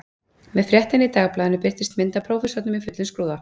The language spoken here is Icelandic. Með fréttinni í dagblaðinu birtist mynd af prófessornum í fullum skrúða